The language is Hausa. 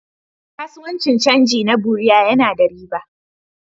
Kasuwancin canji na bureau yana da riba.